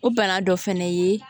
O bana dɔ fɛnɛ ye